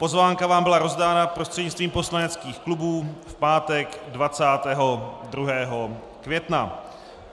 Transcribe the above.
Pozvánka vám byla rozdána prostřednictvím poslaneckých klubů v pátek 22. května.